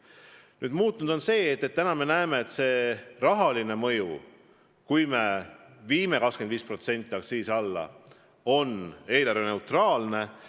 Praegu on toimunud see muudatus, et me näeme, et kui me viime aktsiisid 25% allapoole, siis on see eelarveneutraalne samm.